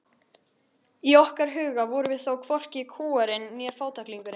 Inn óstýriláti sérvitringur er orðinn bljúgur almúgamaður.